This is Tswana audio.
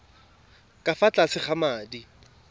ka fa tlase ga madi